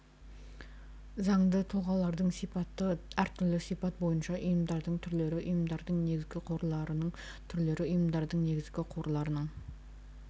заңды тұлғалардың сипаты әртүрлі сипат бойынша ұйымдардың түрлері ұйымдардың негізгі қорларының түрлері ұйымдардың негізгі қорларының